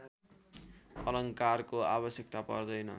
अलङ्कारको आवश्यकता पर्दैन